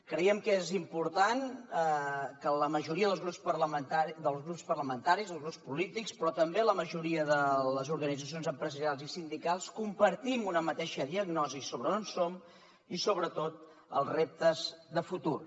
creiem que és important que la majoria dels grups parlamentaris dels grups polítics però també la majoria de les organitzacions empresarials i sindicals compartim una mateixa diagnosi sobre on som i sobretot els reptes de futur